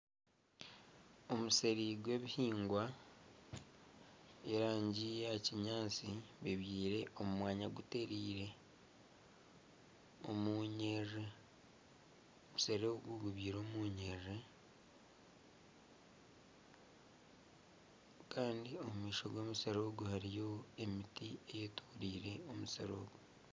Omusiri gw'ebihingwa by'erangi ya kinyaatsi, bibyire omu mwanya gutereire omunyiriri omusiri ogu gubyire omu nyiriri, kandi omu maisho g'omusiri ogu hariyo emisiri eyetoreire omusiri ogu.